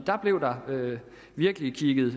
da blev der virkelig kigget